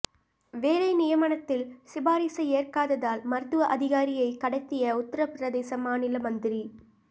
வேலை நியமனத்தில் சிபாரிசை ஏற்காததால் மருத்துவ அதிகாரியை கடத்திய உத்தரபிரதேச மாநில மந்திரி